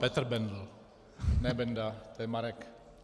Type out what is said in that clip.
Petr Bendl, ne Benda, to je Marek.